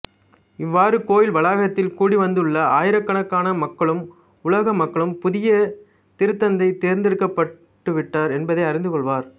இவ்வாறு கோவில் வளாகத்தில் கூடிவந்துள்ள ஆயிரக்கணக்கான மக்களும் உலக மக்களும் புதிய திருத்தந்தை தேர்ந்தெடுக்கப்பட்டுவிட்டார் என்பதை அறிந்துகொள்வர்